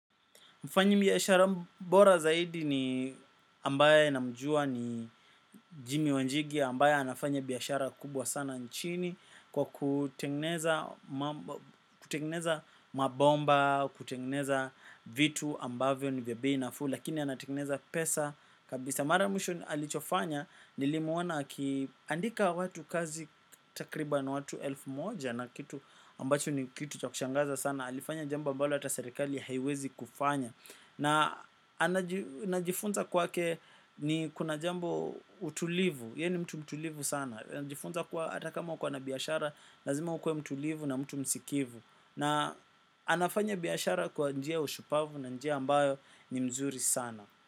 Mfanyibiashara bora zaidi ni ambaye namjua ni jimmy wanjigi ambaye anafanya biashara kubwa sana nchini kwa kutengeneza mabomba, kutengeneza vitu ambavyo ni vya bei nafuu lakini anatengeneza pesa kabisa. Mara ya mwisho alichofanya nilimuona akiandika watu kazi takribani watu elfu moja na kitu ambacho ni kitu cha kushangaza sana. Alifanya jambo ambalo hata serikali haiwezi kufanya. Na najifunza kwake ni kuna jambo utulivu. Yeye ni mtu mtulivu sana. Najifunza kuwa hata kama uko na biashara, lazima ukuwe mtulivu na mtu msikivu. Na anafanya biashara kwa njia ya ushupavu na njia ambayo ni mzuri sana.